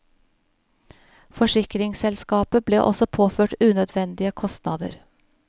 Forsikringsselskapet ble også påført unødvendige kostnader.